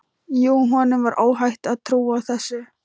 Jú, honum var óhætt að trúa þessu!